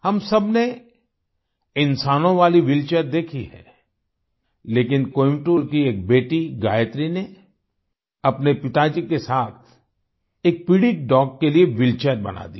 हम सबने इंसानों वाली व्हीलचेयर देखी है लेकिन कोयंबटूर की एक बेटी गायत्री ने अपने पिताजी के साथ एक पीड़ित डॉग के लिए व्हीलचेयर बना दी